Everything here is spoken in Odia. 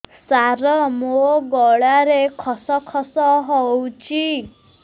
ସାର ମୋ ଗଳାରେ ଖସ ଖସ ହଉଚି